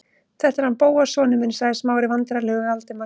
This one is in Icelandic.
Þetta er hann Bóas sonur minn- sagði Smári vandræðalegur við Valdimar.